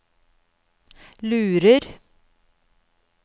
lurer